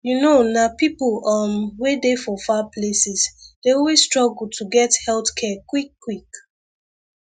you know nah people um wey dey for far places dey always struggle to get health care quickquick